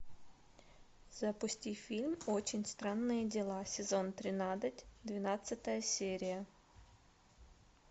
запусти фильм очень странные дела сезон тринадцать двенадцатая серия